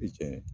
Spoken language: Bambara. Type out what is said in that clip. tiɲɛ